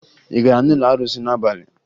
Ị gara n'ụlọ arụsị n'abalị?